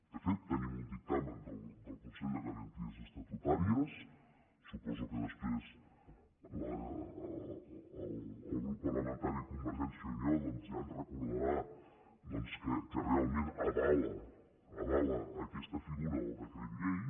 de fet tenim un dictamen del consell de garanties estatutàries suposo que després el grup parlamentari de convergència i unió doncs ja ens recordarà que realment avala avala aquesta figura del decret llei